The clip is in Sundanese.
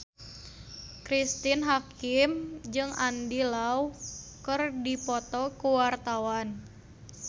Cristine Hakim jeung Andy Lau keur dipoto ku wartawan